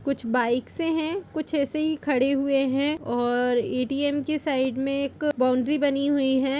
कुछ बाइक्स है कुछ ऐसे ही खड़े हुए है और ए_टी_एम के साइड में एक बाउंड्री बनी हुई है।